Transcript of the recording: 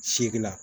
Seegin la